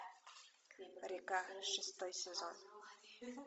река шестой сезон